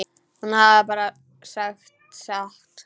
Hún hafði bara sagt satt.